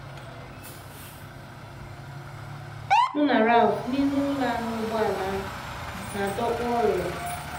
Mụ na Ralph n’ihu ụlọ ahụ ụgbọala na - adọkpụ ọ rụrụ